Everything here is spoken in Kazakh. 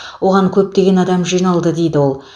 оған көптеген адам жиналды дейді ол